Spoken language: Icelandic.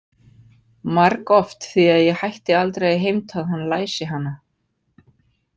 Margoft því að ég hætti aldrei að heimta að hann læsi hana.